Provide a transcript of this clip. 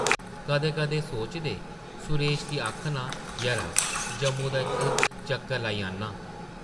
कदें-कदें सोचदे, सुरेश गी आखनां, ‘‘यरा, जम्मू दा इक्क चक्कर लाई औन्नां ।’’